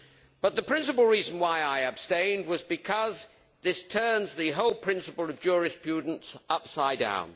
But the principal reason why I abstained was because this turns the whole principle of jurisprudence upside down.